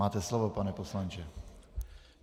Máte slovo, pane poslanče.